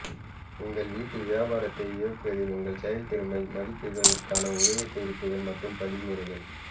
உங்கள் வீட்டு வியாபாரத்தை இயக்குவதில் உங்கள் செயல்திறனை மதிப்பிடுவதற்கான உதவிக்குறிப்புகள் மற்றும் படிமுறைகள்